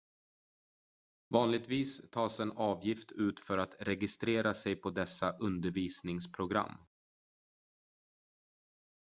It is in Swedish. vanligtvis tas en avgift ut för att registrera sig på dessa undervisningsprogram